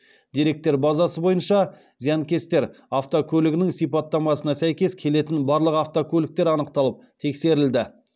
деректер базасы бойынша зиянкестер автокөлігінің сипаттамасына сәйкес келетін барлық автокөліктер анықталып тексерілді